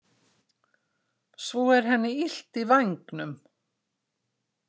Svo er henni illt í vængnum.